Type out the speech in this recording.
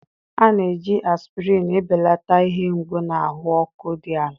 a na-eji aspirin ebelata ihe mgbu na ahụ ọkụ dị ala.